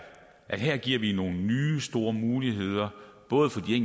at her giver vi nogle nye store muligheder både for de